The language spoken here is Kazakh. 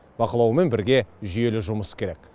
бақылаумен бірге жүйелі жұмыс керек